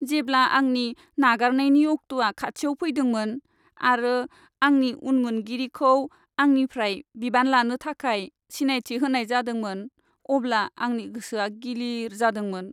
जेब्ला आंनि नागारनायनि अक्ट'आ खाथियाव फैदोंमोन आरो आंनि उनमोनगिरिखौ आंनिफ्राय बिबान लानो थाखाय सिनायथि होनाय जादोंमोन अब्ला आंनि गोसोआ गिलिर जादोंमोन।